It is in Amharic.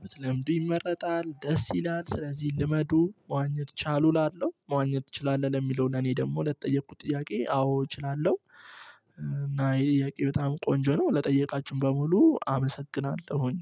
ብትለምዱ ይመረጣል። ደስ ይላል ስለዚህ ልመዱ መዋኘት ቻሉ። መዋኘት ትችላለህ ለሚለው ለኔ ደግሞ ለተጠየቅኩት ጥያቄ አዎ እችላለሁ። እና ይህ ጥያቄ በጣም ቆንጆ ነው ለጠየቃችሁኝ በሙሉ አመሰግናለሁኝ